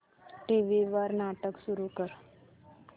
TV वर नाटक सुरू कर